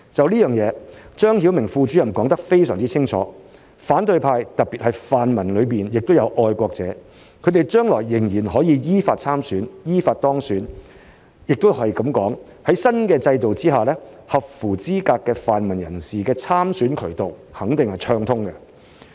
對此，張曉明副主任說得非常清楚，反對派特別是泛民中也有愛國者，他們將來仍然可以依法參選、依法當選，亦可以說，在新制度下，合乎資格的泛民人士的參選渠道肯定是暢通的。